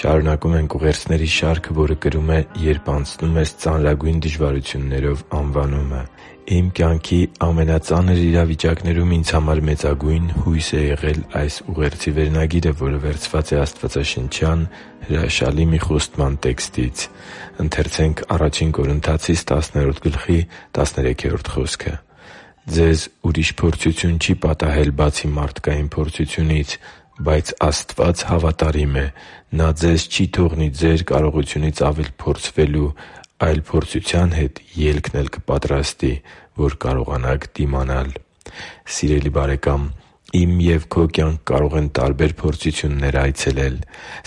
Շարունակում ենք ուղերձների շարքը, որը կրում է «Երբ անցնում ես ծանրագույն դժվարություններով» անվանումը։ Իմ կյանքի ամենածանր իրավիճակներում ինձ համար մեծագույն հույս է եղել այս ուղերձի վերնագիրը, որը վերցված է Աստվածաշնչյան հրաշալի մի խոստման տեքստից․ «Ձեզ ուրիշ փորձություն չի պատահել, բացի մարդկային փորձությունից։ Բայց Աստված հավատարիմ է. Նա ձեզ չի թողնի ձեր կարողությունից առավել փորձվելու, այլ փորձության հետ ելքն էլ կպատրաստի, որ կարողանաք դիմանալ» (Ա Կորնթացիս 10․13 ՆՎԱԱ): Սիրելի՛ բարեկամ, իմ և քո կյանք կարող են տարբեր փորձություններ այցելել։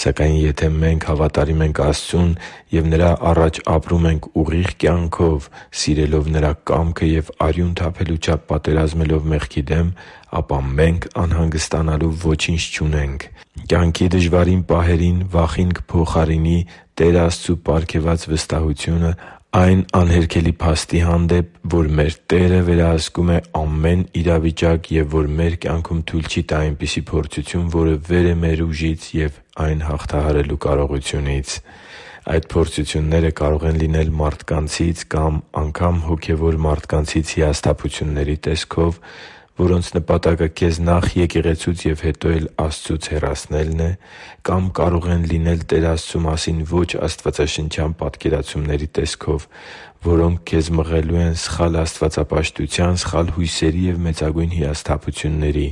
Սակայն, եթե մենք հավատարիմ ենք Աստծուն և Նրա առաջ ապրում ենք ուղիղ կյանքով՝ սիրելով Նրա կամքը և արյուն թափելու չափ պատերազմելով մեղքի դեմ, ապա մենք անհանգստանալու ոչինչ չունենք։ Կյանքի դժվարին պահերին վախին կփոխարինի Տեր Աստծու պարգևած վստահությունն առ այն անհերքելի փաստը, որ մեր Տերը վերահսկում է ամեն իրավիճակ և որ մեր կյանքում թույլ չի տա այնպիսի փորձություն, որը վեր է մեր ուժից և այն հաղթահարելու կարողությունից։ Այդ փորձությունները կարող են լինել մարդկանցից և անգամ՝ հոգևոր մարդկանցից հիասթափությունների տեսքով, որոնց նպատակը քեզ նախ՝ եկեղեցուց և հետո էլ՝ Աստծուց հեռացնելն է։ Կամ կարող են լինել Տեր Աստծու մասին ոչ աստվածաշնչյան պատկերացումների տեսքով, որոնք քեզ մղելու են սխալ աստվածապաշտության, սխալ հույսերի ու մեծագույն հիասթափությունների։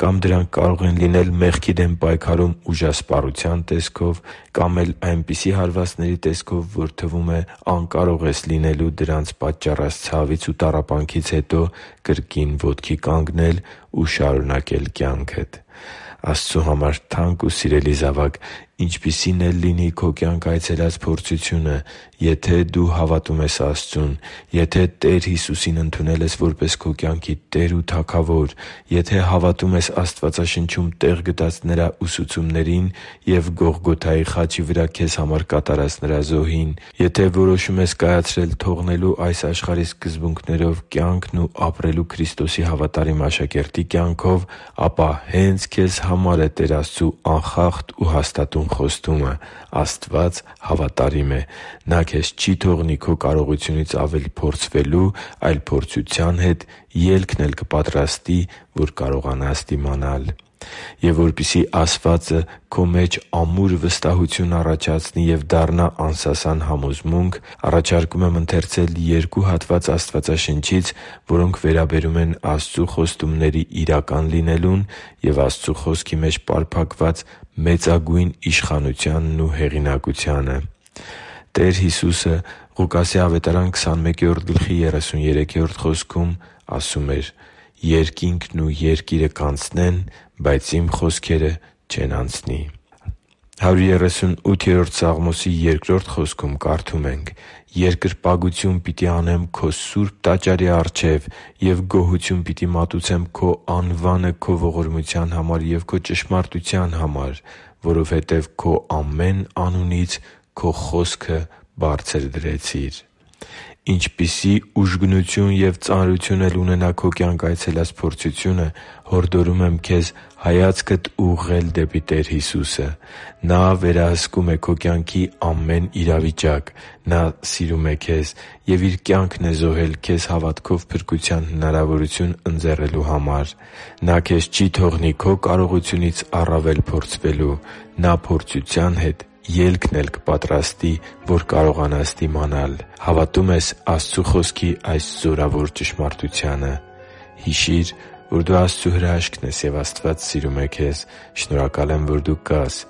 Կամ դրանք կարող են լինել մեղքի դեմ պայքարում ուժասպառության տեսքով։ Կամ էլ այնպիսի հարվածների տեսքով, որ թվում է՝ անկարող ես լինելու դրանց պատճառած ցավից ու տառապանքից հետո կրկին ոտքի կանգնել ու շարունակել կյանքդ։ Աստծու համար թանկ ու սիրելի՛ զավակ, ինչպիսին էլ լինի քո կյանք այցելած փորձությունը, եթե դու հավատում ես Աստծուն․․․, եթե Տեր Հիսուսին ընդունել ես որպես քո կյանքի Տեր ու Թագավոր․․․, եթե հավատում ես Աստվածաշնչում տեղ գտած Նրա ուսուցումներին և Գողգոթայի խաչի վրա քեզ համար կատարած Նրա զոհին․․․, եթե որոշում ես կայացրել թողնելու այս աշխարհի սկզբունքներով կյանքն ու ապրելու Քրիստոսի հավատարիմ աշակերտի կյանքով, ապա հե՛նց քեզ համար է Տեր Աստծու անխախտ ու հաստատուն խոստումը․ «Աստված հավատարիմ է. Նա ձեզ չի թողնի ձեր կարողությունից առավել փորձվելու, այլ փորձության հետ ելքն էլ կպատրաստի, որ կարողանաք դիմանալ»։ Եվ որպեսզի ասվածը քո մեջ ամուր վստահություն առաջացնի և դառնա անսասան համոզմունք, առաջարկում եմ ընթերցել երկու հատված Աստվածաշնչից, որոնք վերաբերում են Աստծու խոստումների իրական լինելուն և Աստծու Խոսքի մեջ պարփակված մեծագույն իշխանությանն ու հեղինակությանը։ «Երկինքն ու երկիրը կանցնեն, բայց Իմ խոսքերը չեն անցնի» (Ղուկաս 21․33 ՆՎԱԱ): «Երկրպագություն պիտի անեմ Քո սուրբ տաճարի առջև և գոհություն պիտի մատուցեմ Քո անվանը Քո ողորմության համար և Քո ճշմարտության համար, որովհետև Դու Քո ամեն անունից Քո խոսքը բարձրացրիր» (Սաղմոս 138․2 ՆՎԱԱ): Ինչպիսի ուժգնություն և ծանրություն էլ ունենա քո կյանք այցելած փորձությունը, հորդորում եմ քեզ հայացքդ ուղղել դեպի Տեր Հիսուսը։ Նա վերահսկում է քո կյանքի ամեն իրավիճակ։ Նա սիրում է քեզ և Իր կյանքն է զոհել քեզ հավատքով փրկության հնարավորություն ընձեռելու համար։ Նա քեզ չի թողնի քո կարողությունից առավել փորձվելու։ Նա փորձության հետ ելքն էլ կպատրաստի, որ կարողանաս դիմանալ․․․ Հավատո՞ւմ ես Աստծու Խոսքի այս զորավոր ճշմարտությանը․․․ Հիշի՛ր, որ դու Աստծո հրաշքն ես, և Աստված սիրում է քեզ։ Շնորհակալ եմ, որ դու կա՛ս